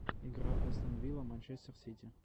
игра астон вилла манчестер сити